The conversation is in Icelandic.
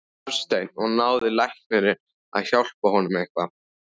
Hafsteinn: Og náði læknirinn að hjálpa honum eitthvað?